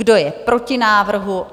Kdo je proti návrhu?